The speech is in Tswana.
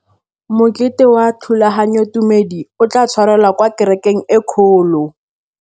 Mokete wa thulaganyôtumêdi o tla tshwarelwa kwa kerekeng e kgolo.